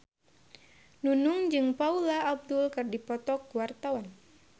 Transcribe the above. Nunung jeung Paula Abdul keur dipoto ku wartawan